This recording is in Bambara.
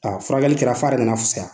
furakɛli kɛra fa yɛrɛ nana fisaya.